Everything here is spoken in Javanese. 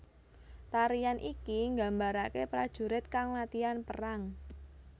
Tarian iki gambarake prajurit kang latihan perang